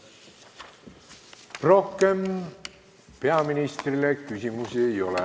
Rohkem peaministrile küsimusi ei ole.